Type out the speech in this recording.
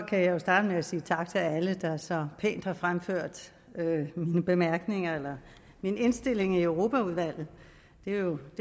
jeg jo starte med at sige tak til alle der så pænt har fremført mine bemærkninger eller min indstilling i europaudvalget det er jo